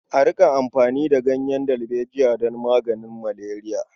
A riƙa amfani da ganyen dalbejiya don maganin maleriya.